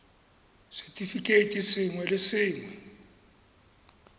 r setefikeiti sengwe le sengwe